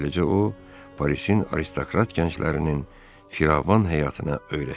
Beləcə o, Parisin aristokrat gənclərinin firavan həyatına öyrəşirdi.